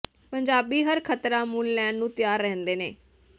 ਪੰਜਾਬੀ ਹਰ ਖਤਰਾ ਮੁੱਲ ਲੈਣ ਨੂੰ ਤਿਆਰ ਰਹਿੰਦੇ ਨੇ